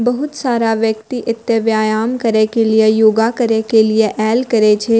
बहुत सारा व्यक्ति एता व्यायाम करे के लिए योगा करे के लिए ऐल करे छै।